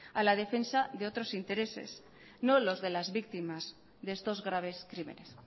a la defensa de otros intereses no los de las víctimas de estos graves crímenes